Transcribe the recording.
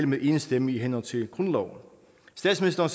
med én stemme i henhold til grundloven statsministeren